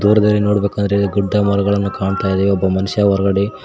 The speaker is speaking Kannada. ದೂರದಲ್ಲಿ ನೋಡ್ಬೇಕಂದ್ರೆ ಗುಡ್ಡ ಮರಗಳನ್ನು ಕಾಣ್ತಾ ಇದೆ ಒಬ್ಬ ಮನುಷ್ಯ ಹೊರಗಡೆ--